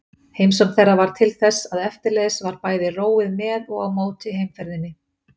Heimsókn þeirra varð til þess að eftirleiðis var bæði róið með og á móti heimferðinni.